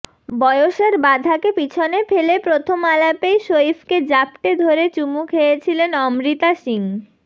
বয়সের বাধাকে পিছনে ফেলে প্রথম আলাপেই সইফকে জাপটে ধরে চুমু খেয়েছিলেন অমৃতা সিং